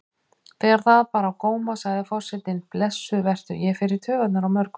Þegar það bar á góma sagði forsetinn: Blessuð vertu, ég fer í taugarnar á mörgum.